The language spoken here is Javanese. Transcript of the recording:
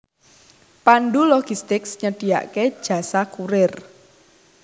Pandu Logistics nyediake jasa kurir